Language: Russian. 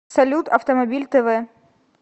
салют автомобиль тэ вэ